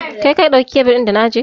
Kai ka ɗauki kyabil ɗin da na ajiye?